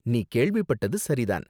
நீ கேள்விப்பட்டது சரி தான்.